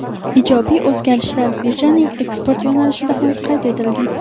Ijobiy o‘zgarishlar birjaning eksport yo‘nalishida ham qayd etilgan.